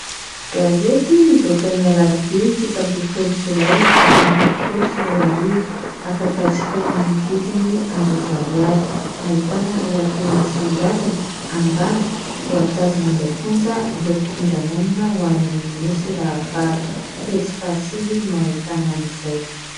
Gazety nivoaka ny alarobia fito ambin'ny folo jolay efatra amby roapolo sy roa arivo, afaka jifaina amin'ny vidiny arivo ariary. Ahitana lohateny misongadina : Ambanja, voatazona any am-ponja ireo mpifindra monina ho any amin'ny nosy rahavavy. Pejy faha sivy no ahitana an' izay.